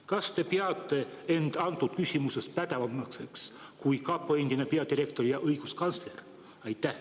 Kas te peate end antud küsimuses kapo endisest peadirektorist ja õiguskantslerist pädevamaks?